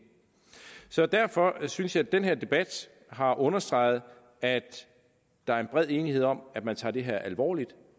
så derfor synes jeg at den her debat har understreget at der er en bred enighed om at man tager det her alvorligt